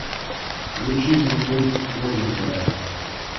включи мне мульт новенькая